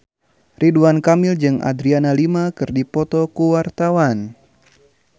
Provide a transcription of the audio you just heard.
Ridwan Kamil jeung Adriana Lima keur dipoto ku wartawan